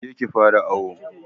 Kije ki fara awo